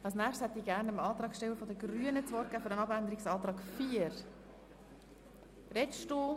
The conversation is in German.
Als nächster Sprecher hat der Antragsteller der Grünen für den Abänderungsantrag 4 das Wort.